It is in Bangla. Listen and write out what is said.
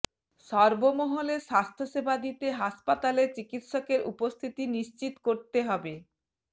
সর্বমহলে স্বাস্থ্যসেবা দিতে হাসপাতালে চিকিৎসকের উপস্থিতি নিশ্চিত করতে হবে